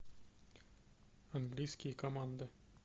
английские команды